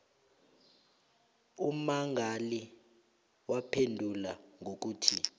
ummangali waphendula ngokuthi